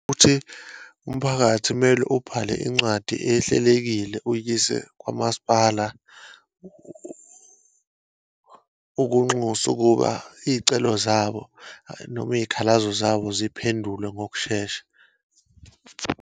Ukuthi umphakathi kumele ubhale incwadi ehlelekile, uwuyise kwamasipala, ukunxusa ukuba iyicelo zabo, noma iyikhalazo zabo ziphendulwe ngokushesha.